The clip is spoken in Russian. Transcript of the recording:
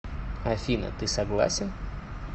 афина ты согласен